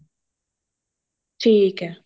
ਠੀਕ ਆ